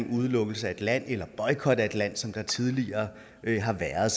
udelukkelse af et land eller boycot af et land som der tidligere har været